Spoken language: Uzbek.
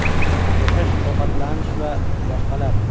Yashash, ovqatlanish va boshqalar.